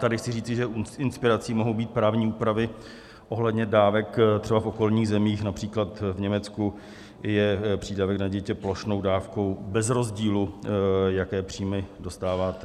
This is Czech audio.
Tady chci říci, že inspirací mohou být právní úpravy ohledně dávek třeba v okolních zemích, například v Německu je přídavek na dítě plošnou dávkou bez rozdílu, jaké příjmy dostáváte.